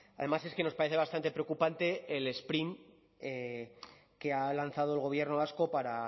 además es que nos parece bastante preocupante el sprint que ha lanzado el gobierno vasco para